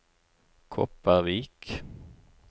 Kopervik